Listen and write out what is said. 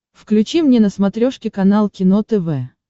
включи мне на смотрешке канал кино тв